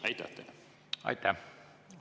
Aitäh!